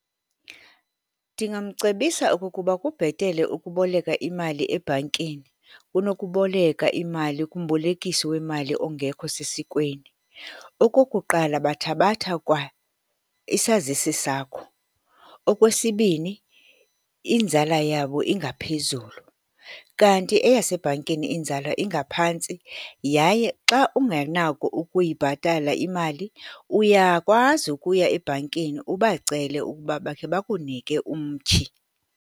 Ndingamcebisa okokuba kubhetele ukuboleka imali ebhankini kunokuboleka imali kumbolekisi wemali ongekho sesikweni. Okokuqala, bathabatha kwa isazisi sakho. Okwesibini, inzala yabo ingaphezulu, kanti eyasebhankini inzala ingaphantsi yaye xa ungenako ukuyibhatala imali, uyakwazi ukuya ebhankini ubacele ukuba bakhe bakunike umtyhi.